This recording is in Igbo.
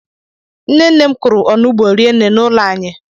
Nnenne m kụrụ onugbu rinne n'ụlọ anyị